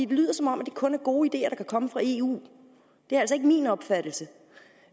lyder som om det kun er gode ideer der kan komme fra eu det er altså ikke min opfattelse